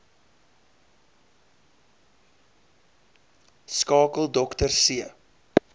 skakel dr c